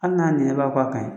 An ŋ'a ninyɔrɔ labɔ a kan ye